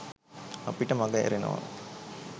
අපිට මග ඇරෙනවා